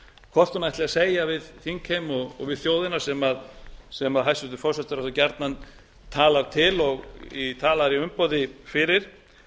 hvort hún ætli að segja við þingheim og við þjóðina sem hæstvirtur forsætisráðherra gjarnan talar til og talaði í umboði fyrir